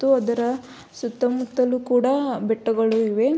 ಥು ಅದರ ಸುತ್ತ ಮುತ್ತಲು ಕೂಡ ಬೆಟ್ಟಗಳು ಇವೆ